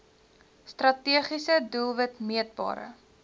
strategiese doelwit meetbare